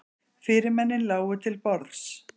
Fyrirmennin lágu til borðs.